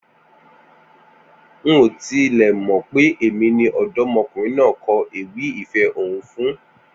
N ò tilẹ̀ mọ̀ pé èmi ni ọ̀dọ́mọkùnrin náà kọ ewì ìfẹ́ ọ̀hún fún